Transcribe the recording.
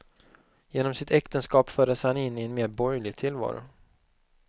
Genom sitt äktenskap fördes han in i en mer borgerlig tillvaro.